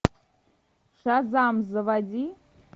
шазам заводи